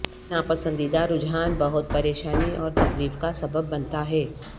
یہ ناپسندیدہ رجحان بہت پریشانی اور تکلیف کا سبب بنتا ہے